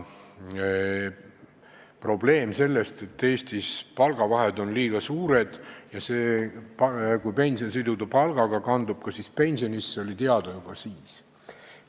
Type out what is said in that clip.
Probleem, et Eestis on palgavahed liiga suured, ja soov siduda pension palgaga oli juba siis.